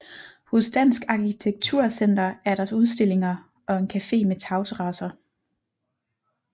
Hos Dansk Arkitektur Center er der udstillinger og en café med tagterrasser